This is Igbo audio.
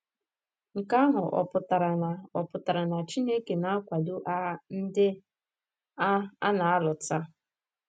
Nke ahụ ọ̀ pụtara na ọ̀ pụtara na Chineke na - akwado agha ndị a a na - alụ taa?